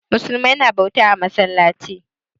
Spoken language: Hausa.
Musulmi na bauta a masallaci.